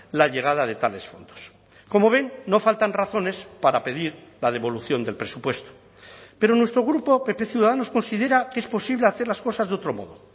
la llegada de tales fondos como ven no faltan razones para pedir la devolución del presupuesto pero nuestro grupo pp ciudadanos considera que es posible hacer las cosas de otro modo